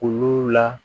Olu la